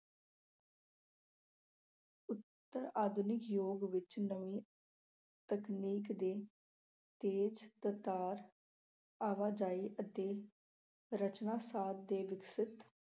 ਆਧੁਨਿਕ ਯੁੱਗ ਵਿੱਚ ਨਵੀਂ ਤਕਨੀਕ ਦੇ ਤੇਜ਼-ਤਰਾਰ, ਆਵਾਜਾਈ ਅਤੇ ਰਚਨਾ ਸਾਰ ਦੇ ਵਿਕਸਤ